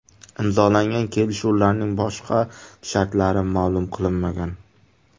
Imzolangan kelishuvlarning boshqa shartlari ma’lum qilinmagan.